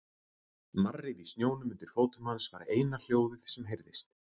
Marrið í snjónum undir fótum hans var eina hljóðið sem heyrðist.